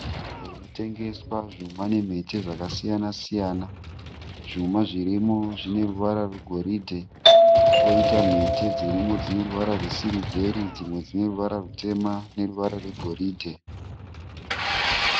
Nzvimbo inotengeswa zvuma nemhete zvakasiyana siyana. Zvuma zvirimo zvineruvara rwegoridhe. Koita mhete dzirimo dzineruvara rwesiriveri, dzimwe dzine ruvara rwutema neruvara rwegoridhe.